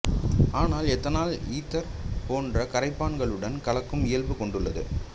ஆனால் ethanol ether போன்ற கரைப்பான்களுடன் கலக்கும் இயல்பு கொண்டுள்ளது